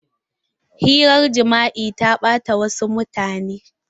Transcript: Hirar jima'i ta ɓata wasu mutane.